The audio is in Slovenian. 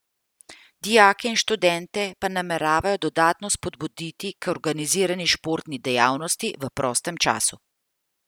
Dijake in študente pa nameravajo dodatno spodbuditi k organizirani športni dejavnosti v prostem času.